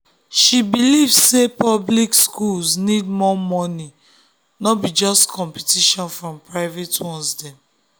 she believe say public schools need more money no be just competition from private ones dem